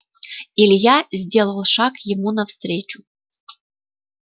илья сделал шаг ему навстречу